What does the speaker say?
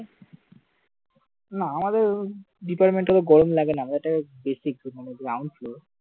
না আমাদের department তো গরম লাগে না ওটা বেশি ground floor